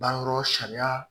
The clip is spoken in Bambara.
Banyɔrɔ sariya